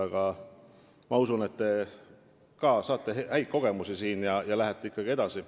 Aga ma usun, et te saate siin ka häid kogemusi ja lähete ikkagi edasi.